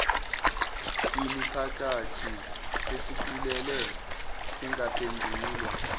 kwimiphakathi esikhulile zingaphendulwa